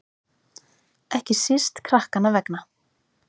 Ekki síst krakkanna vegna.